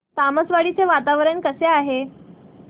तामसवाडी चे वातावरण कसे आहे